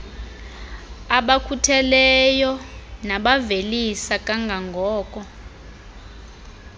abakhutheleyo nabavelisa kangangoko